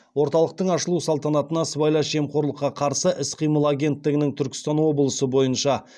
орталықтың ашылу салтанатына сыбайлас жемқорлыққа қарсы іс қимыл агенттігінің түркістан облысы бойынша